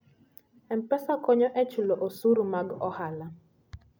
M-Pesa konyo e chulo osuru mag ohala.